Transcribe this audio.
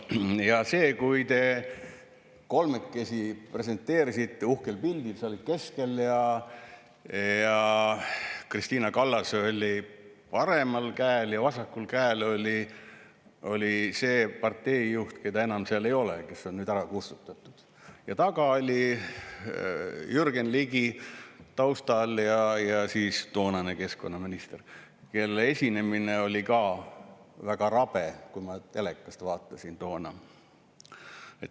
Ja te kolmekesi presenteerisite end uhkel pildil, sa olid keskel ja Kristina Kallas oli paremal käel ja vasakul käel oli see parteijuht, keda enam seal ei ole, kes on nüüd ära kustutatud, ja taga, taustal oli Jürgen Ligi ja siis toonane minister, kelle esinemine oli väga rabe – ma telekast vaatasin toona.